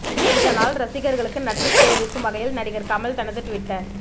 இதனால் ரசிகர்களுக்கு நன்றி தெரிவிக்கும் வகையில் நடிகர் கமல் தனது ட்விட்டர்